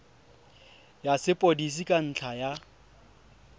ya sepodisi ka ntlha ya